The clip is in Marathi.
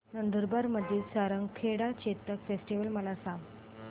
नंदुरबार मधील सारंगखेडा चेतक फेस्टीवल मला सांग